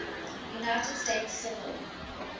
united states civil